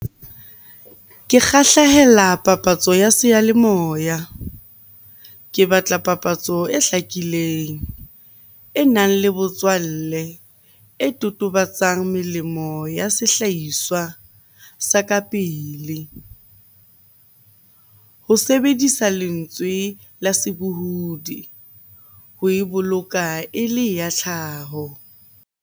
Ke kgahlehela papatso ya seyalemoya. Ke batla papatso e hlakileng, enang le botswalle, e totobatsang melemo ya sehlahiswa sa ka pele. Ho sebedisa lentswe la sebohodi, ho e boloka e le ya tlhaho.